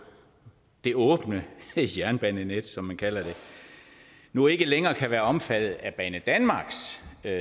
det åbne jernbanenet som vi kalder det nu ikke længere kan være omfattet af banedanmarks